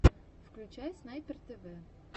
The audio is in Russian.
включай снайпер тв